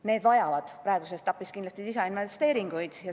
Need vajavad praeguses etapis kindlasti lisainvesteeringuid.